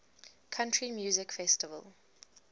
country music festival